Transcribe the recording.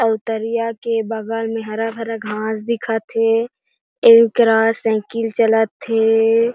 अऊ तरिया के बगल में हरा-भरा घाँस दिखा थे एकरा साइकिल चलथे --